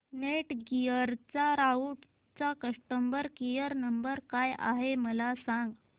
Netgear राउटरचा customer care number काय आहे मला सांग